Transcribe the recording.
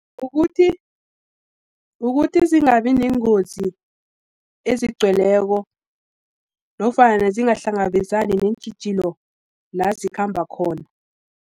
Ukuthi zingabineengozi, ezigcweleko, nofana zingahlangabezani neentjhijilo la zikhamba khona.